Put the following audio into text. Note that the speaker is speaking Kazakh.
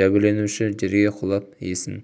жәбірленуші жерге құлап есін